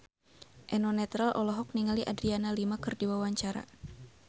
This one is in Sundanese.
Eno Netral olohok ningali Adriana Lima keur diwawancara